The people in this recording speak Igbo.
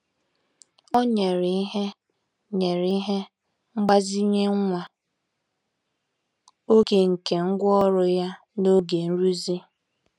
Ọ nyere ihe nyere ihe mgbazinye nwa oge nke ngwá ọrụ ya n'oge nrụzi.